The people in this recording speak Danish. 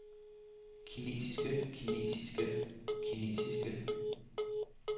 kinesiske kinesiske kinesiske